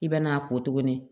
I bɛ n'a ko tuguni